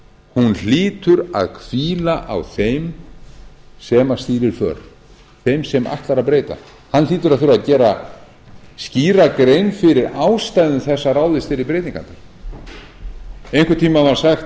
sönnunarskyldan hlýtur að hvíla á þeim sem stýrir för þeim sem ætlar að breyta hann hlýtur að þurfa að gera skýra grein fyrir ástæðum þess að ráðist verði í breytingarnar einhvern tíma var sagt